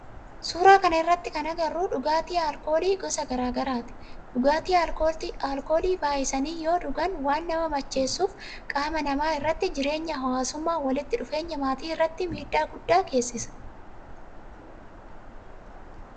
Suuraa kana irratti kan agarru dhugaatii alkoolii gosa garaa garaati. Dhugaatii alkoolii baayyisanii yoo dhugan waan nama macheessuuf qaama nama irratti jireenya hawaasummaa, walitti dhufeenya maatii irratti midhaa guddaa geessisa